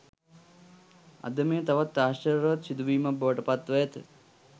අද මෙය තවත් ආශ්චර්යවත් සිදුවීමක් බවට පත්ව ඇත